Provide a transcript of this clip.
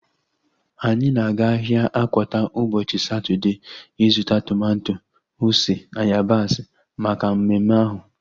Anyị na-aga ahịa Akwata ụbọchị Satọdee ịzụta tomato, ose na yabasị maka mmemme ahu